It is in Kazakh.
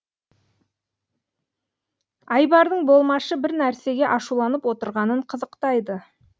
айбардың болмашы бір нәрсеге ашуланып отырғанын қызықтайды